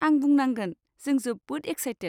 आं बुंनांगोन, जों जोबोद एक्सायटेट।